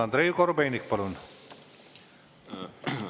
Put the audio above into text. Andrei Korobeinik, palun!